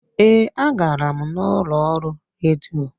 Ee, a gara m n'ụlọ ọrụ redio.